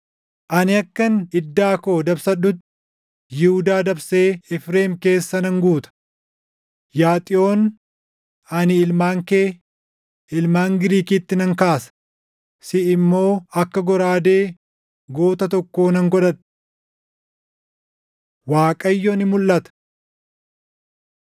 Ani akkan iddaa koo dabsadhutti Yihuudaa dabsee Efreem keessa nan guuta. Yaa Xiyoon, ani ilmaan kee ilmaan Giriikitti nan kaasa; siʼi immoo akka goraadee goota tokkoo nan godhadha. Waaqayyo Ni Mulʼata